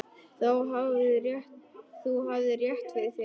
Þú hafðir rétt fyrir þér.